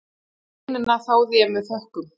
Greinina þáði ég með þökkum.